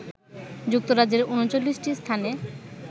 যুক্তরাজ্যের ৩৯টি স্থানে